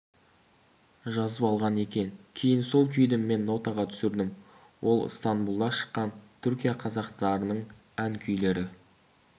жазып алған екен кейін сол күйді мен нотаға түсірдім ол ыстанбұлда шыққан түркия қазақтарының ән-күйлері